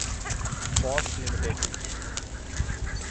Bosch limited